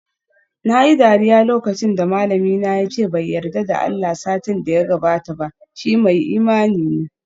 Nayi dariya lokacin da malamina yace bai yarda da Allah satin da ya gabata ba, shi mai imani ne